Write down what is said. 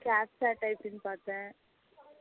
Captcha typing பாத்தேன்